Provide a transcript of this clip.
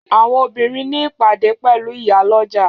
Àwọn obìnrin ní ìpàdé pẹ̀lú ìyálọ́jà